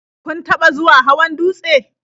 Kun taɓa zuwa hawan dutse?